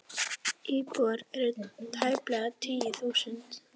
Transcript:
Íbúar eru tæplega tíu þúsund.